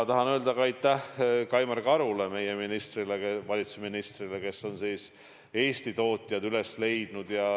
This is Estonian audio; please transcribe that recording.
Tahan öelda aitäh ka Kaimar Karule, meie valitsuse ministrile, kes on Eesti tootjad üles leidnud.